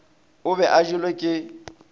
o be a jelwe ke